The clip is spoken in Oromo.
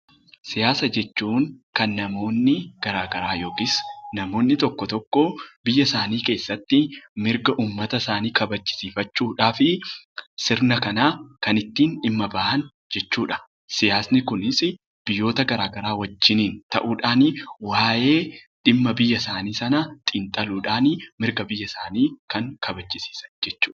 Siyaasa jechuun kan namoonni garaa garaa yokis namoonni tokko tokko biyyasaanii keessatti mirga uummatasaanii kabachisiifachuudhafii sirna kanaa kan ittiin dhimma ba'an jechuudha. Siyaasni kunisii biyyoota garaa garaa wajjiniin ta'uudhaani waa'ee dhimma biyyasaanii sanaa xinxaluudhaani mirga biyyasaanii kan kabachisiisan jechuudha.